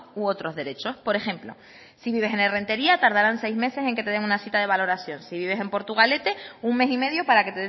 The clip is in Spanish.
u otros derechos por ejemplo si vives en errenteria tardarán seis meses en que te den una cita de valoración si vives en portugalete un mes y medio para que